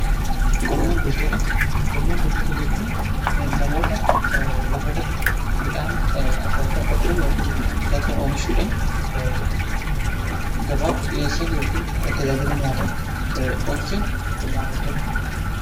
Qonnaan bultoota: Qonnaan bultoota jechuun namoota lafa irratti midhaan adda addaa qotuudhaan yookiin midhaan adda addaa oomishuudhaan gabaaf dhiheessan yookiin tajaajila nyaataaf oolchan qonnaan bultoota jenna.